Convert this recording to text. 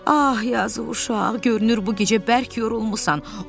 Ah yazıq uşaq, görünür bu gecə bərk yorulmusan.